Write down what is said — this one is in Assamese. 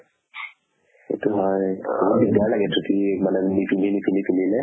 সেইটো হয় ধুতি মানে পিন্ধি পিন্ধিলে